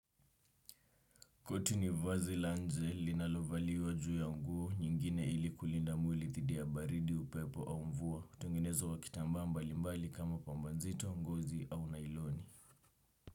Koti ni vazi la nje linalovaliwa juu ya nguo nyingine ili kulinda mwili dhidi ya baridi upepo au mvua. Hutengenezwa wa kitambaa mbali mbali kama pamba nzito ngozi au nailoni.